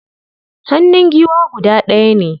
Hannun giwa guda ɗaya ne.